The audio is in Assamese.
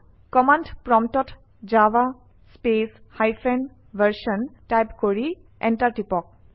কমাণ্ড প্ৰম্পটত java space hyphen version type কৰি এণ্টাৰ টিপক